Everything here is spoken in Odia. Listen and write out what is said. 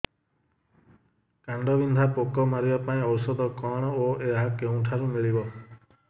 କାଣ୍ଡବିନ୍ଧା ପୋକ ମାରିବା ପାଇଁ ଔଷଧ କଣ ଓ ଏହା କେଉଁଠାରୁ ମିଳିବ